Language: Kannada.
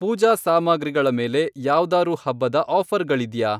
ಪೂಜಾ ಸಾಮಗ್ರಿಗಳ ಮೇಲೆ ಯಾವ್ದಾರೂ ಹಬ್ಬದ ಆಫ಼ರ್ಗಳಿದ್ಯಾ?